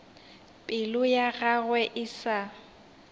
pelo ya gagwe e sa